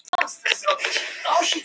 Hann er í náttslopp.